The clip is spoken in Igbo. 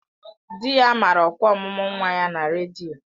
Di ya mara ọkwa ọmụmụ nwa ya na redio